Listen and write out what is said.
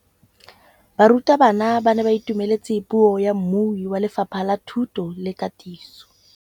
Barutabana ba ne ba itumeletse puô ya mmui wa Lefapha la Thuto le Katiso.